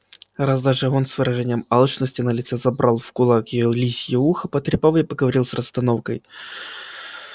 раз даже он с выражением алчности на лице забрал в кулак её лисье ухо потрепал и проговорил с расстановкой